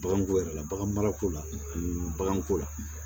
Baganko yɛrɛ la bagan marako la ani baganko la